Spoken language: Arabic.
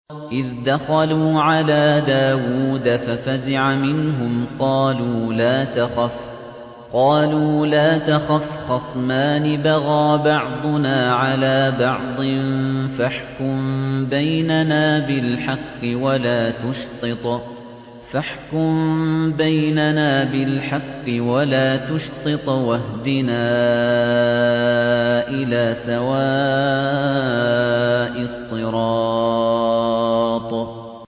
إِذْ دَخَلُوا عَلَىٰ دَاوُودَ فَفَزِعَ مِنْهُمْ ۖ قَالُوا لَا تَخَفْ ۖ خَصْمَانِ بَغَىٰ بَعْضُنَا عَلَىٰ بَعْضٍ فَاحْكُم بَيْنَنَا بِالْحَقِّ وَلَا تُشْطِطْ وَاهْدِنَا إِلَىٰ سَوَاءِ الصِّرَاطِ